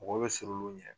Mɔgɔ bɛ sir'u ɲɛ